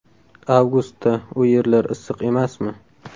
Avgustda u yerlar issiq emasmi?